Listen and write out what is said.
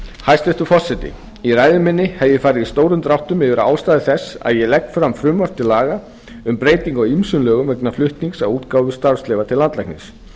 hæstvirtur forseti í ræðu minni hef ég farið í stórum dráttum yfir ástæður þess að ég legg fram frumvarp til laga um breytingu á ýmsum lögum vegna flutnings á útgáfu starfsleyfa til landlæknis